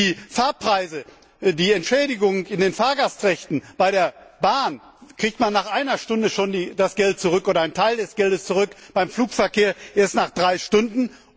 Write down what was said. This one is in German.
Die Fahrpreise, die Entschädigung in den Fahrgastrechten bei der Bahn bekommt man schon nach einer Stunde das Geld oder ein Teil des Geldes zurück, beim Flugverkehr erst nach drei Stunden.